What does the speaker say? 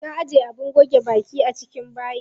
Na ajiye abin goge baki a cikin bayi.